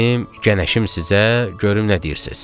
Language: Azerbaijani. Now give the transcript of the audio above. Dedim, gənəşim sizə, görüm nə deyirsiz?